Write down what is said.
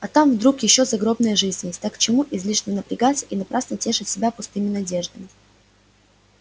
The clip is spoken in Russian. а там вдруг ещё загробная жизнь есть так к чему излишне напрягаться и напрасно тешить себя пустыми надеждами